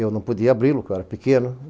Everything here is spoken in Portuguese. Eu não podia abri-lo, porque eu era pequeno.